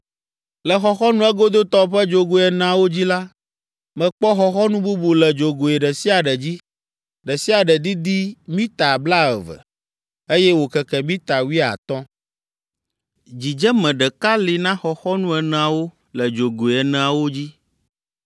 Le xɔxɔnu egodotɔ ƒe dzogoe eneawo dzi la, mekpɔ xɔxɔnu bubu le dzogoe ɖe sia ɖe dzi, ɖe sia ɖe didi mita blaeve, eye wòkeke mita wuiatɔ̃. Dzidzeme ɖeka li na xɔxɔnu eneawo le dzogoe eneawo dzi.